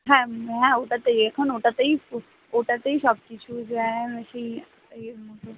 হ্যাঁ হ্যাঁ এখন ওটাতেই এখন ওটাতেই ওটাতেই সবকিছু জ্যাম বেশি এর মত